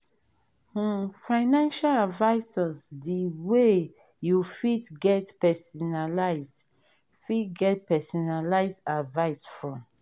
um financial advisors de wey you fit get personalised fit get personalised advice from